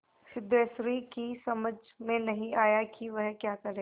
सिद्धेश्वरी की समझ में नहीं आया कि वह क्या करे